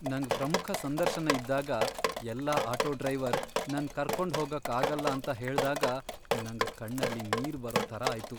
ನಂಗ್ ಪ್ರಮುಖ ಸಂದರ್ಶನ ಇದ್ದಾಗ ಎಲ್ಲ ಆಟೋ ಡ್ರೈವರ್ ನನ್ ಕರ್ಕೊಂಡ್ ಹೋಗಕ್ ಆಗಲ್ಲ ಅಂತ ಹೇಳ್ದಾಗ ನಂಗ್ ಕಣ್ಣಲ್ಲಿ ನೀರ್ ಬರೋ ತರ ಆಯ್ತು.